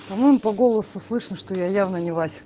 он по голосу слышно что я явно не в асе